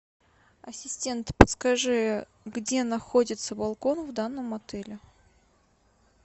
ассистент подскажи где находится балкон в данном отеле